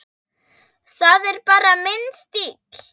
Það er bara minn stíll.